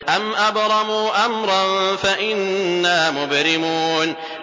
أَمْ أَبْرَمُوا أَمْرًا فَإِنَّا مُبْرِمُونَ